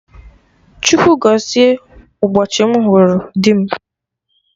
Chukwu gọzie ụbọchị mụ hụrụ dị m